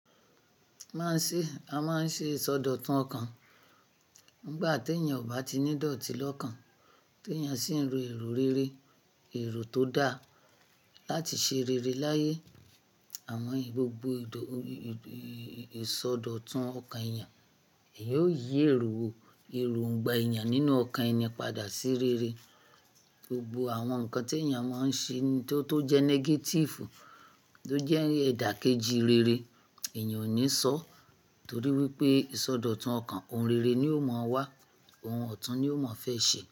Máà ń ṣe, a máà ń ṣe ìsọdọ̀tun ọkàn nígbà tí ènìyàn ò bá ti ní dòtí lọ́kàn, tí ènìyàn sì ń ro èrò rere, èrò tó dá láti ṣe rere láyé. Àwọn ì-- gbogbo ìdò-- ì, ìsọdọ̀tun ọkàn ènìyàn yóò yí èrò, èrò òǹgbà ènìyàn nínú ọkàn ẹni padà sí rere. Gbogbo àwọn nǹkan tí ènìyàn máa ń ṣe tó, tó jẹ́ negative, tó jẹ́ ẹ̀dà kejì rere, ènìyàn ò ní sọọ, torí wípé ìsọdọ̀tun ọkàn oùn rere ni ó máa wá, oun ọ̀tún ni ó máa fẹ́ ṣe.